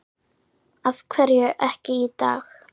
Af hverju ekki í dag?